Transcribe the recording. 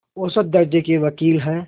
औसत दर्ज़े के वक़ील हैं